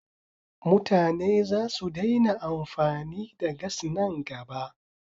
Mutane za su daina amfani da gas nan gaba.